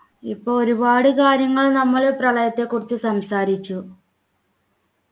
ഇപ്പോ ഒരുപാട് കാര്യങ്ങൾ നമ്മൾ പ്രളയത്തെക്കുറിച്ച് സംസാരിച്ചു